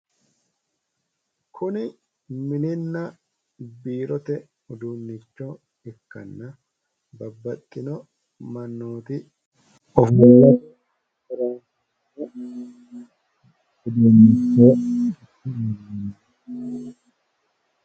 Kuni mininna biirote uduunnicho ikkanna babbaxino mannooti